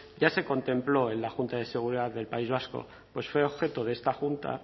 ya se contempló en la junta de seguridad del país vasco pues fue objeto de esta junta